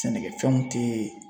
Sɛnɛkɛfɛnw te